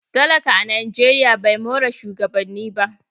talaka a najeriya ba more shugabanni ba